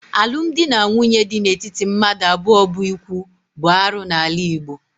Alụmdi na nwunye di n'etiti mmadụ abụọ bụ íkwù bụ arụ n'ala Igbo